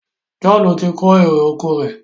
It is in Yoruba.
John tí kò èrò ọkọ̀ rẹ.